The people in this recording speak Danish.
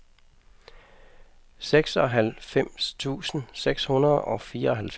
seksoghalvfems tusind seks hundrede og fireoghalvfems